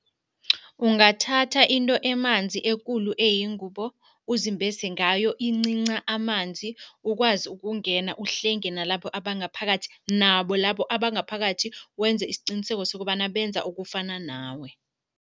Ungathatha into emanzi, ekulu, eyiyingubo, uzimbese ngayo incanca amanzi, ukwazi ukungena uhlenge nalapho abangaphakathi nabo labo abangaphakathi wenze isiqiniseko sokobana benza okufana nawe.